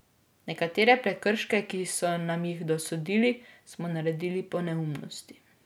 Nekatere prekrške, ki so nam jih dosodili, smo naredili po neumnosti.